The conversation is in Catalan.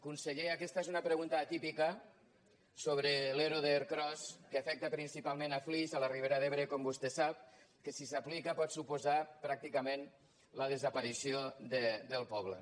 conseller aquesta és una pregunta atípica sobre l’ero d’ercros que afecta principalment flix a la ribera d’ebre com vostè sap que si s’aplica pot suposar pràcticament la desaparició del poble